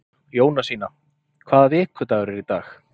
Jónasína, hvaða vikudagur er í dag?